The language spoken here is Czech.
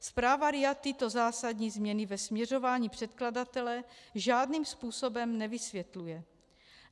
Zpráva RIA tyto zásadní změny ve směřování předkladatele žádným způsobem nevysvětluje.